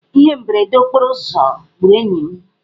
Ihe mberede okporoụzọ gburu enyi m.